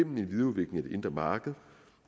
indre marked